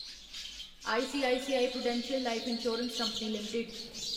ICICI Prudential life insurance company limited